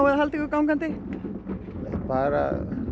að halda ykkur gangandi